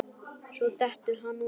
Svo dettur hann út.